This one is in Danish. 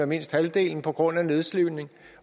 mindst halvdelen på grund af nedslidning